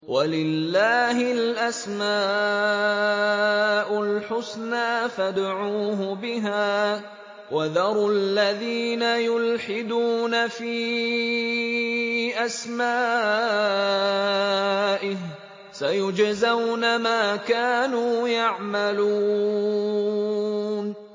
وَلِلَّهِ الْأَسْمَاءُ الْحُسْنَىٰ فَادْعُوهُ بِهَا ۖ وَذَرُوا الَّذِينَ يُلْحِدُونَ فِي أَسْمَائِهِ ۚ سَيُجْزَوْنَ مَا كَانُوا يَعْمَلُونَ